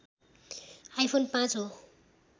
iPhone ५ हो